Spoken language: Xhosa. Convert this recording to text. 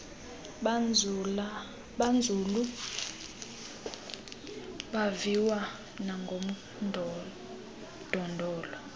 banzulu abaviwa nangodondolo